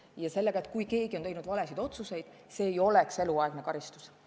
Ja tegeleme sellega, et kui keegi on teinud valesid otsuseid, siis see ei oleks eluaegne karistus.